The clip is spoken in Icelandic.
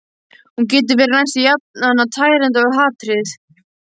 Hún getur verið næstum jafn tærandi og hatrið.